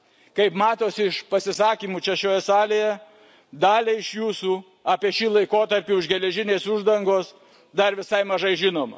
Kaip matosi iš pasisakymų čia, šioje salėje, daliai iš jūsų apie šį laikotarpį už geležinės uždangos dar visai mažai žinoma.